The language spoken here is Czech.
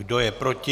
Kdo je proti?